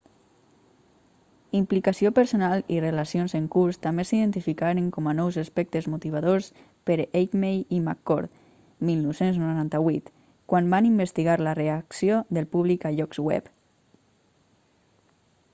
implicació personal i relacions en curs també s'identificaren com a nous aspectes motivadors per eighmey i mccord 1998 quan van investigar la reacció del públic a llocs web